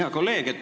Hea kolleeg!